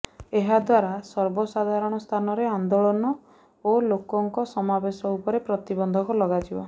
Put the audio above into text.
ଏହାଦ୍ୱାରା ସର୍ବସାଧାରଣ ସ୍ଥାନରେ ଆନ୍ଦୋଳନ ଓ ଲୋକଙ୍କ ସମାବେଶ ଉପରେ ପ୍ରତିବନ୍ଧକ ଲଗାଯିବ